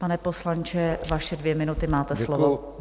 Pane poslanče, vaše dvě minuty, máte slovo.